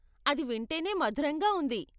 అది వింటేనే మధురంగా ఉంది.